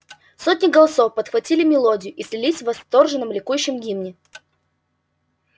сотни голосов подхватили мелодию и слились в восторженном ликующем гимне